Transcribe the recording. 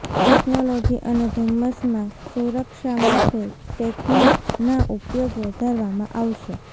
technology અને ધુમ્મસમાં સુરક્ષા માટે ટેક્નિકના ઉપયોગ વધારવામાં આવશે